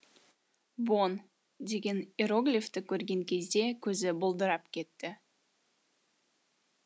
бон деген иероглифті көрген кезде көзі бұлдырап кетті